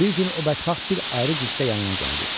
Bir gün o bədxax bir ayrı cilddə yanıma gəldi.